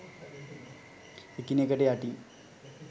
එකිනෙකට යටින්